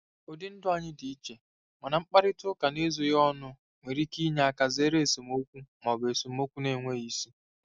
Ụdị ndụ anyị dị iche, mana mkparịta ụka n'ezoghị ọnụ nwere ike inye aka zere esemokwu ma ọ bụ esemokwu na-enweghị isi.